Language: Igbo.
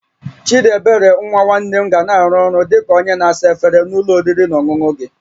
Chidiebere nwa nwanne m ga na-arụ ọrụ dị ka onye na-asa efere na ụlọ oriri na ọṅụṅụ gị